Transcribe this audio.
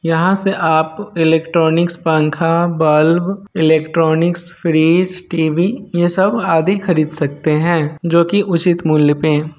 यहाँ से आप इलेक्ट्रानिक्स पंखा बल्ब इलेक्ट्रानिक्स फ्रिज टीवी ये सब आदि खरीद सकते हैं जो की उचित मूल्य पें--